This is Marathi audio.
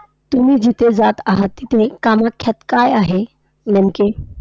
तुम्ही जिथे जात आहात, तिथे कामाख्यात काय आहे नेमके?